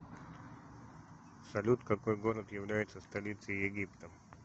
салют какой город является столицей египта